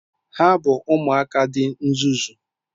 Ha bụ ụmụaka dị nzuzu.